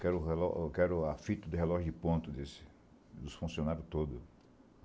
Quero o relo quero a fita de relógio de ponto, desses, dos funcionários todos.